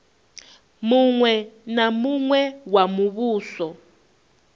muṅwe na muṅwe wa muvhuso